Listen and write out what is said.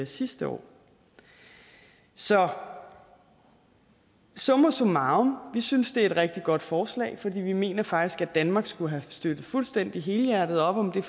sidste år så summa summarum vi synes det er et rigtig godt forslag for vi mener faktisk at danmark skulle have støttet fuldstændig helhjertet op om